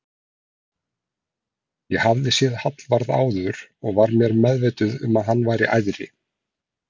Ég hafði séð Hallvarð áður og var mér meðvituð um að hann væri æðri